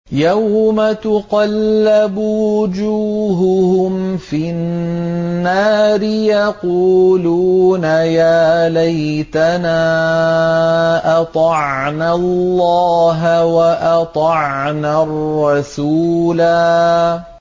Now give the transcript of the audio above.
يَوْمَ تُقَلَّبُ وُجُوهُهُمْ فِي النَّارِ يَقُولُونَ يَا لَيْتَنَا أَطَعْنَا اللَّهَ وَأَطَعْنَا الرَّسُولَا